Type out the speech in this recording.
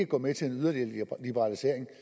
gå med til en yderligere liberalisering